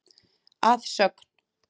Að sögn